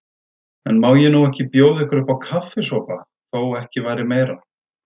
En má ég nú ekki bjóða ykkur uppá kaffisopa, þó ekki væri meira.